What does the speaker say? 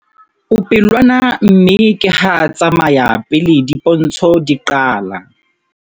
O pelwana mme ke ha a tsamaya pele dipontsho di qala.